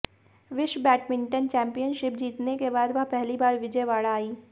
विश्व badminton championship जीतने के बाद वह पहली बार विजयवाड़ा आई